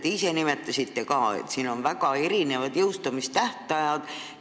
Te ise nimetasite ka, et siin on väga erinevad jõustumistähtajad.